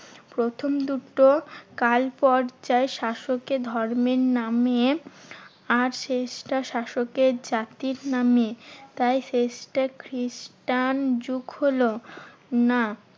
প্রথম দুটো কালপর্যায়ে শাসককে ধর্মের নামে আর শেষটা শাসকের জাতির নামে, তাই শেষটা খ্রিস্টান যুগ হলো না